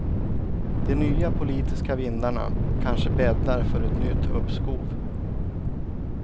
De nya politiska vindarna kanske bäddar för ett nytt uppskov.